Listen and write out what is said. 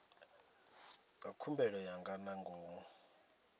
dza khumbelo ya nga ngomu